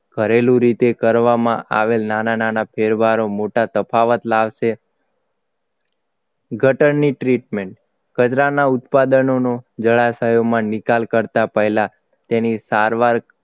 ઘરેલુ રીતે કરવામાં આવેલ નાના નાના ફેરફારો મોટા તફાવત લાવશે ગટરની treatment કચરાના ઉત્પાદનોનું જણાશયોમાં નિકાલ કરતા પહેલા તેની સારવાર